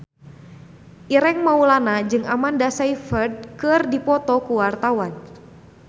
Ireng Maulana jeung Amanda Sayfried keur dipoto ku wartawan